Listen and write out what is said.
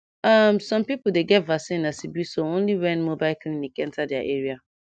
um some people dey get vaccineas e be so only when mobile clinic enta their area